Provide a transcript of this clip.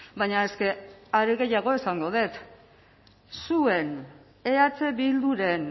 baina eske are gehiago esango dut zuen eh bilduren